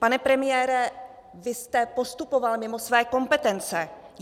Pane premiére, vy jste postupoval mimo své kompetence.